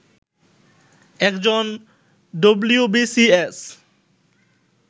একজন ডবলিউবিসিএস